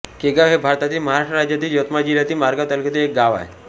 केगाव हे भारतातील महाराष्ट्र राज्यातील यवतमाळ जिल्ह्यातील मारेगांव तालुक्यातील एक गाव आहे